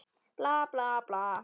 Bla, bla, bla.